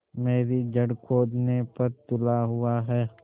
मेरी जड़ खोदने पर तुला हुआ है